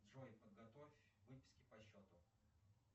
джой подготовь выписки по счету